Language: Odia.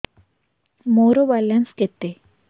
ମୋର ବାଲାନ୍ସ କେତେ